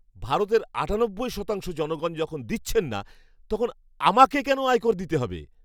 ভারতের আটানব্বই শতাংশ জনগণ যখন দিচ্ছেন না, তখন আমাকে কেন আয়কর দিতে হবে?